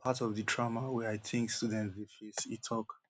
dis na part of di trauma wey i think students dey face e tok